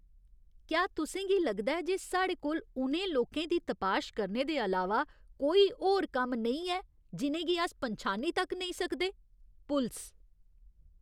क्या तुसें गी लगदा ऐ जे साढ़े कोल उ'नें लोकें दी तपाश करने दे अलावा कोई होर कम्म नेईं ऐ जि'नें गी अस पन्छानी तक नेईं सकदे? पुलस